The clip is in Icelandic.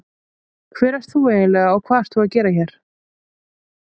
Hver ert þú eiginlega og hvað ert þú að gera hér?